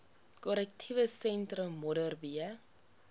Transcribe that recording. korrektiewe sentrum modderbee